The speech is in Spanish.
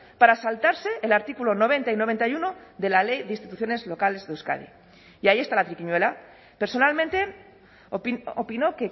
para saltarse el artículo noventa y noventa y uno de la ley de instituciones locales de euskadi y ahí está la triquiñuela personalmente opino